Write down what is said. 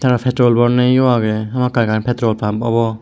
seynot petrol boyennnoi yo agey hamakkai ekkan petrol pump obo.